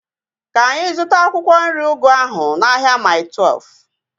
Ka anyị zụta akwụkwọ nri ugu ahu n'ahia Mai Twelfu